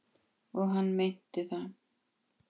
Og hann meinti það.